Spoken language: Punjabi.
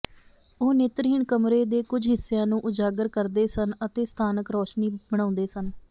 ਉਹ ਨੇਤਰਹੀਣ ਕਮਰੇ ਦੇ ਕੁਝ ਹਿੱਸਿਆਂ ਨੂੰ ਉਜਾਗਰ ਕਰਦੇ ਸਨ ਅਤੇ ਸਥਾਨਕ ਰੋਸ਼ਨੀ ਬਣਾਉਂਦੇ ਸਨ